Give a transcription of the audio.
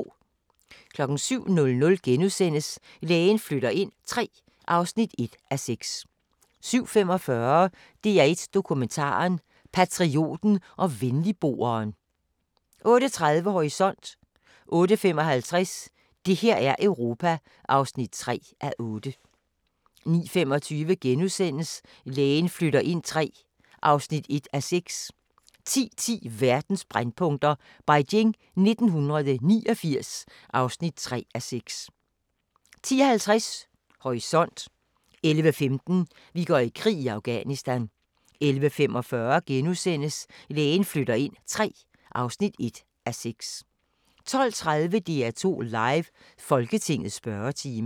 07:00: Lægen flytter ind III (1:6)* 07:45: DR1 Dokumentar: Patrioten og Venligboeren 08:30: Horisont 08:55: Det her er Europa (3:8) 09:25: Lægen flytter ind III (1:6)* 10:10: Verdens brændpunkter: Beijing 1989 (3:6) 10:50: Horisont 11:15: Vi går i krig: Afghanistan 11:45: Lægen flytter ind III (1:6)* 12:30: DR2 Live: Folketingets spørgetime